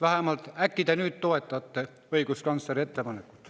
Äkki te vähemalt nüüd toetate õiguskantsleri ettepanekut.